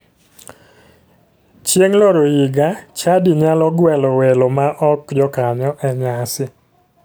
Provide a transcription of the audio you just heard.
Chieng loro higa, chadi nyalo gwelo welo ma ok jokanyo e nyasi.